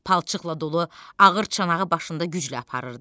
Palçıqla dolu ağır çanağı başında güclə aparırdı.